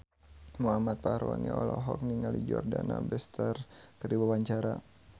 Muhammad Fachroni olohok ningali Jordana Brewster keur diwawancara